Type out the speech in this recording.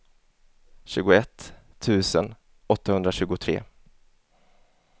tjugoett tusen åttahundratjugotre